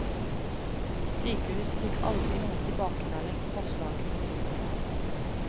Sykehuset fikk aldri noen tilbakemelding på forslagene.